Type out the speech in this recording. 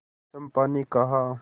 चंपा ने कहा